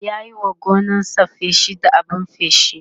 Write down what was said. ya Yi wa gonarsa feshi da abun feshi